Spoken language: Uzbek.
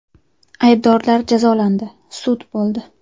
Aybdorlar jazolandi, sud bo‘ldi.